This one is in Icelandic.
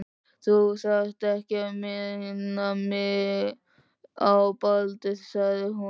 Þú þarft ekki að minna mig á Baldur sagði hún.